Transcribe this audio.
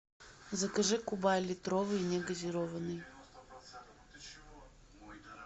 закажи кубай литровый не газированный